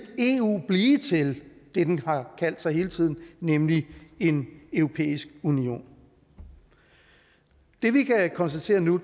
eu blive til det den har kaldt sig hele tiden nemlig en europæisk union det vi kan konstatere nu